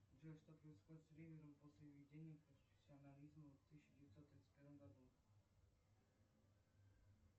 джой что происходит с ривером после введения профессионализма в тысяча девятьсот тридцать первом году